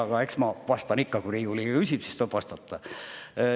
Aga eks ma vastan ikka – kui Riigikogu liige küsib, siis tuleb vastata.